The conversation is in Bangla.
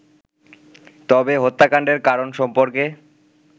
তবে হত্যাকান্ডের কারণ সম্পর্কে